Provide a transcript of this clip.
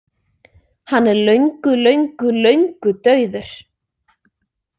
Hann er löngu löngu löngu dauður.